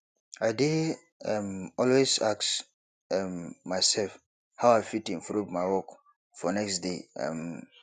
i dey um always ask um myself how i fit improve my work for next day um